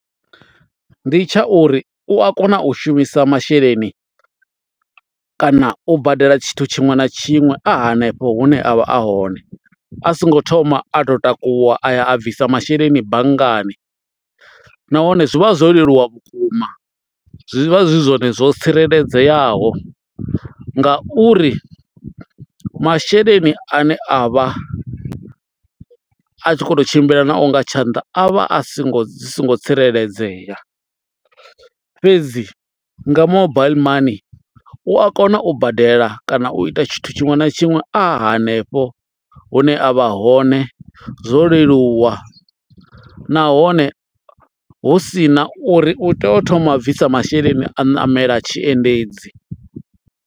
Ndi tsha uri u a kona u shumisa masheleni kana u badela tshithu tshiṅwe na tshiṅwe a hanefho hune a vha a hone a singo thoma a to takuwa a ya a bvisa masheleni banngani nahone zwi vha zwo leluwa vhukuma, zwi vha zwi zwone zwo tsireledzeaho ngauri masheleni ane a vha a tshi kho to tshimbila na o nga tshanḓa a vha a songo zwi songo tsireledzea fhedzi nga mobile money u a kona u badela kana u ita tshithu tshiṅwe na tshiṅwe a hanefho hune a vha hone zwo leluwa nahone hu sina uri u tea u thoma a bvisa masheleni a ṋamela tshi endedzi.